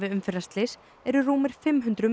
umferðarslys eru rúmir fimm hundruð